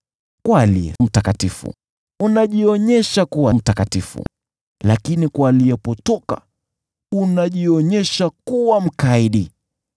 Kwa aliye mtakatifu, unajionyesha kuwa mtakatifu, lakini kwa aliyepotoka, unajionyesha kuwa mkaidi.